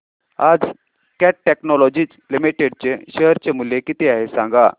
आज Cat Technologies Limited चे share चे मूल्य किती आहे सांगा